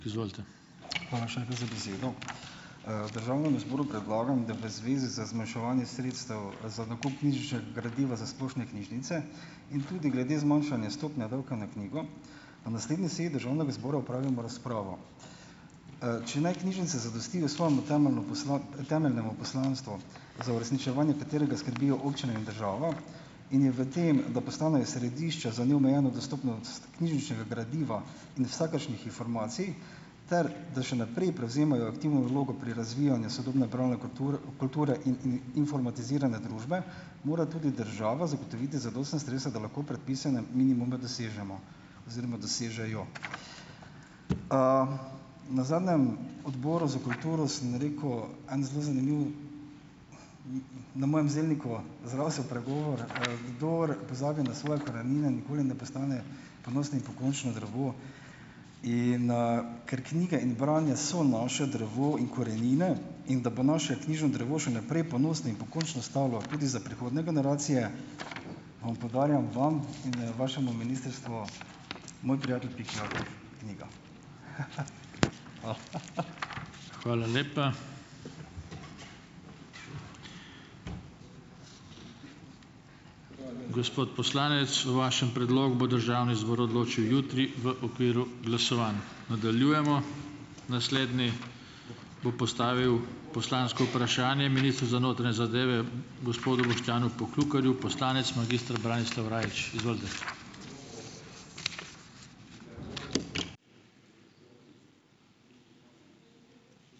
Hvala še enkrat za besedo. Državnemu zboru predlagam, da v zvezi za zmanjševanje sredstev za nakup knjižničnega gradiva za splošne knjižnice in tudi glede zmanjšanje stopnje davka na knjigo na naslednji seji državnega zbora opravimo razpravo. Če naj knjižnice zadostijo svojemu temeljnemu temeljnemu poslanstvo, za uresničevanje katerega skrbijo občine in država in je v tem, da postanejo središče za neomejeno dostopnost knjižničnega gradiva in vsakršnih informacij ter da še naprej prevzemajo aktivno vlogo pri razvijanju sodobne bralne kulture in informatiziranja družbe mora tudi država zagotoviti zadostna sredstva, da lahko predpisane minimume dosežemo oziroma dosežejo. Na zadnjem Odboru za kulturo sem rekel en zelo zanimivo, na mojem zelniku zrasel pregovor, Kdor pozabi na svoje korenine, nikoli ne postane ponosno in pokončno drevo." In, ker knjige in branje so naše drevo in korenine, in da bo naše knjižno drevo še naprej ponosno in pokončno stalo tudi za prihodnje generacije, vam podarjam vam in, vašemu ministrstvu Moj prijatelj Piki Jakob knjigo.